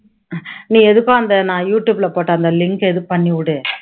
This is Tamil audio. நீ எதுக்கும் அந்த நான் யூ டியூப்ல போட்ட அந்த link அ இது பண்ணி விடு